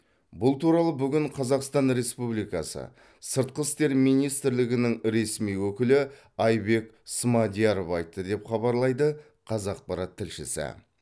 бұл туралы бүгін қазақстан республикасы сыртқы істер министрлігінің ресми өкілі айбек смадияров айтты деп хабарлайды қазақпарат тілшісі